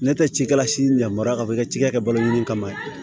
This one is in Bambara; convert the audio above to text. Ne tɛ ci kɛ la si yamaruya ka bɔ i ka cikɛ kɛ balo ɲini kama ye